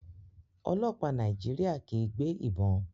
Ọlọpa Naijiria kii gbe ibon